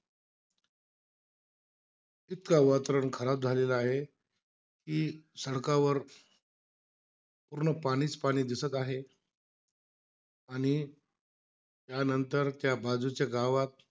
इतकं वातावरण खराब झालेलं आहे कि, सडकावर पूर्ण पाणीचं पाणी दिसत आहे. आणि त्यानंतर त्या बाजूच्या गावात,